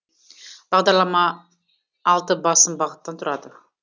бағдарлама алты басым бағыттан тұрады